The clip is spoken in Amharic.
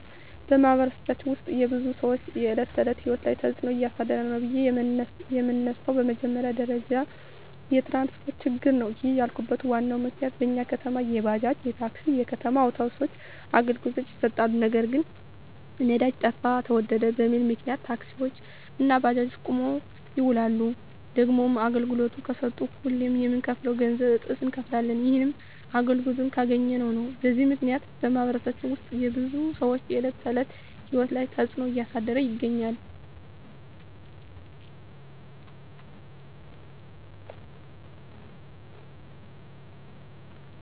በማኅበረሰባችን ውስጥ የብዙ ሰዎች የዕለት ተዕለት ሕይወት ላይ ትጽእኖ እያሳደረ ነው ብዬ የመነሣው በመጀመሪያ ደረጃ የትራንስፓርት ችግር ነው። ይህንን ያልኩበት ዋናው ምክንያት በኛ ከተማ የባጃጅ፣ የታክሲ፣ የከተማ አውቶቢሶች አገልግሎት ይሠጣሉ። ነገር ግን ነዳጅ ጠፋ ተወደደ በሚል ምክንያት ታክሲዎች እና ባጃጆች ቁመው ይውላሉ። ደግሞም አገልግሎት ከሠጡም ሁሌ ከምንከፍለው ገንዘብ እጥፍ እነከፍላለን። ይህንንም አገልግሎቱን ካገኘን ነው። በዚህ ምክንያት በማኅበረሰባችን ውስጥ የብዙ ሰዎች የዕለት ተዕለት ሕይወት ላይ ትጽእኖ እያሳደረ ይገኛል።